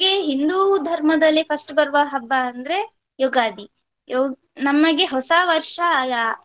ಹಿಂದೂ ಧರ್ಮದಲ್ಲಿ first ಗೆ ಬರುವ ಹಬ್ಬ ಅಂದ್ರೆ ಯುಗಾದಿ. ಯು~ ನಮಗೆ ಹೊಸ ವರ್ಷ ಯ~ .